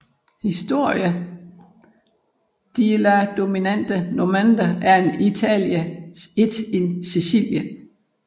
Histoire de la domination normande en Italie et en Sicilie